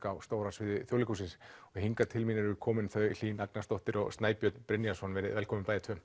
á stóra sviði Þjóðleikhússins og hingað til mín eru komin þau Hlín Agnarsdóttir og Snæbjörn Brynjarsson verið velkomin bæði tvö